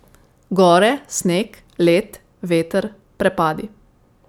Gore, sneg, led, veter, prepadi ...